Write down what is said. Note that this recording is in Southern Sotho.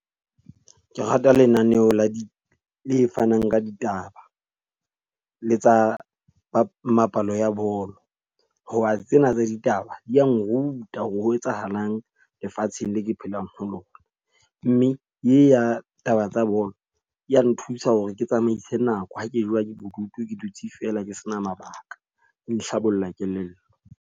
Ke rata lenaneo la di le fanang ka ditaba, le tsa mapalo ya bolo. Ho ba tsena tsa ditaba di a nruta hore ho etsahalang lefatsheng le ke phelang ho lona. Mme e ya taba tsa bolo, ya nthusa hore ke tsamaise nako ha ke jowa ke bodutu ke dutse feela ke se na mabaka. E nhlabolla kelello.